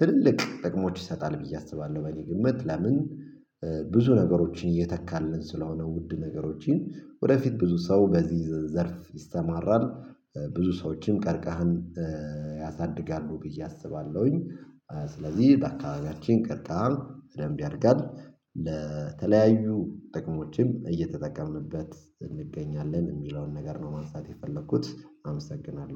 ትልቅ ጥቅሞች ይሰጣል ብዬ አስባለሁ። በግምት ለምን ብዙ ነገሮችን እየተካልን ስለሆነ ውድ ነገሮችን ወደፊት ብዙ ሰው በዚህ ዘርፍ ይስተማራል ብዙ ሰዎችን ቀርቀህን ያሳድጋሉ ብዬ አስባለሁኝ። ስለዚህ በአካባቢያችን ቀጥታ በደንብ ያድጋል ለተለያዩ ጥቅሞችም እየተጠቀምንበት እንገኛለን የሚለውን ነገር ነው ማንሳት የፈለኩት አመሰግናለሁ